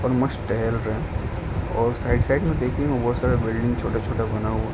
और मस्त टहल रहें हैं और साइड-साइड में देखिये बहुत सारा बिल्डिंग छोटा-छोटा बना हुआ --